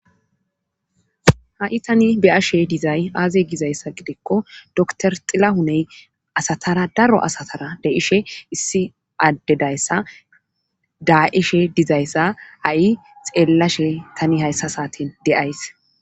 ha'i tani be'ashe dizay aaze gizayssa gidikko dokor xillahuney asatara daro asatara d'ishe issi addedayssa daa'ishe dizayssa ha'i xeellashe tani hayssa saatin de'ays